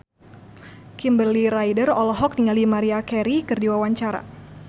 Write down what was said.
Kimberly Ryder olohok ningali Maria Carey keur diwawancara